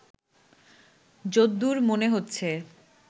যদ্দুর মনে হচ্ছে